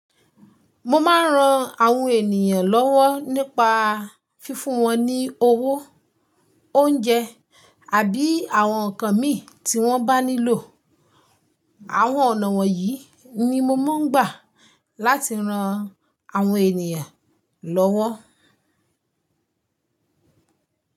Mo máa ń ran àwọn ènìyàn lọ́wọ́ nípa fífún wọn ní owó, oúnjẹ àbí àwọn nǹkan mi tí wọ́n bá nílò. Àwọn ọ̀nà wọ̀nyí ni mo máa ń gbà láti ran àwọn ènìyàn lọ́wọ́.